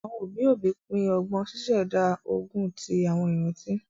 Àwọn òbí òbí pin ọgbọn, ṣíṣẹ̀dá ogún ti àwọn ìrántí